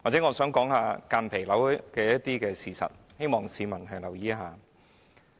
我想說明間皮瘤的事實，希望市民留意。